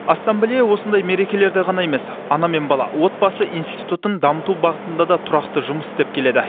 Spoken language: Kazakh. ассамблея осындай мерекелерде ғана емес ана мен бала отбасы институтын дамыту бағытында да тұрақты жұмыс істеп келеді